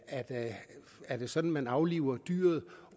at er det sådan at man afliver dyret